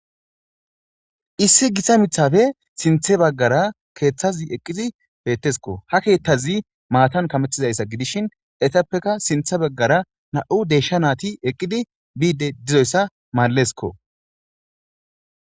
Issi githa miththape sinththe baggara keeththazi eqqizi beeththeskoo; ha keeththazi maathan kameththiza iza gidishin ethappeka sinththa baggara naa7u deeshsha naathi eqqidi biidde dizayssa maalles koo.